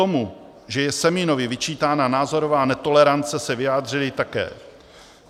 K tomu, že je Semínovi vyčítána názorová netolerance, se vyjadřuji také.